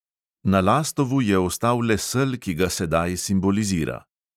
Na lastovu je ostal le sel, ki ga sedaj simbolizira.